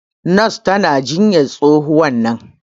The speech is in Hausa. nurse tana jinyan tsohuwan nan